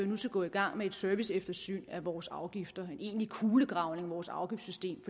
nu skal gå i gang med et serviceeftersyn af vores afgifter en egentlig kulegravning af vores afgiftssystem